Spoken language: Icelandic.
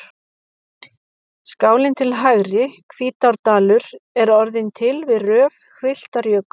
Skálin til hægri, Hvítárdalur, er orðin til við rof hvilftarjökuls.